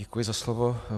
Děkuji za slovo.